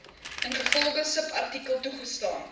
ingevolge subartikel toegestaan